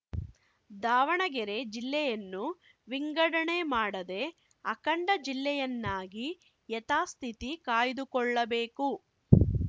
ದಾವಣಗೆರೆ ಜಿಲ್ಲೆಯನ್ನು ವಿಂಗಡಣೆ ಮಾಡದೆ ಅಖಂಡ ಜಿಲ್ಲೆಯನ್ನಾಗಿ ಯಥಾಸ್ಥಿತಿ ಕಾಯ್ದುಕೊಳ್ಳಬೇಕು